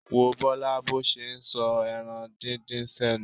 Wo Bọ́lá bó ṣe ń sọ ẹran díndín sẹ́nu.